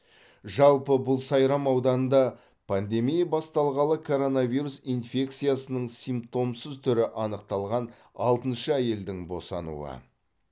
жалпы бұл сайрам ауданында пандемия басталғалы коронавирус инфекциясының симптомсыз түрі анықталған алтыншы әйелдің босануы